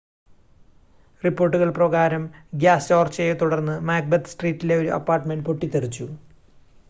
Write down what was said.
റിപ്പോർട്ടുകൾ പ്രകാരം ഗ്യാസ് ചോർച്ചയെത്തുടർന്ന് മാക്ബെത്ത് സ്ട്രീറ്റിലെ ഒരു അപ്പാർട്ട്മെൻ്റ് പൊട്ടിത്തെറിച്ചു